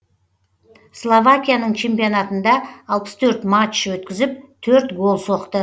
словакияның чемпионатында алпыс төрт матч өткізіп төрт гол соқты